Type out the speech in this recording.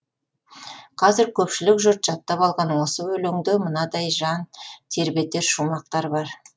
қазір көпшілік жұрт жаттап алған осы өлеңде мынадай жан тербетер шумақтар бар